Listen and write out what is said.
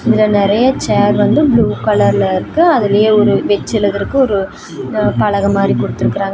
இதுல நறையா சேர் வந்து ப்ளூ கலர்ல இருக்கு அதிலேயே ஒரு வெச்சு எழுதறக்கு ஒரு பலக மாரி குடுத்துருக்குறாங்க.